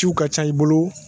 Ciw ka ca i bolo.